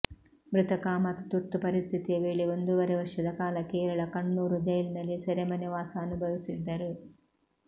ಮೃತ ಕಾಮತ್ ತುರ್ತು ಪರಿಸ್ಥಿತಿಯ ವೇಳೆ ಒಂದೂವರೆ ವರ್ಷದ ಕಾಲ ಕೇರಳ ಕಣ್ಣೂರು ಜೈಲಿನಲ್ಲಿ ಸೆರೆಮನೆ ವಾಸ ಅನುಭವಿಸಿದ್ದರು